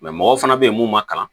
mɔgɔ fana bɛ ye mun ma kalan